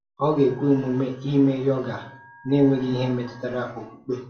Ọ̀ ga-ekwe omume ime yoga na-enweghị ihe metụtara okpukpe?